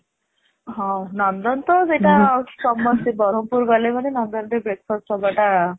ହଁ ନନ୍ଦନ ତ ସେଟା ଆଉ, ସମସ୍ତେ ବ୍ରହ୍ମପୁର ଗଲେ ମାନେ ନନ୍ଦନ ରେ breakfast ହେବା ଟା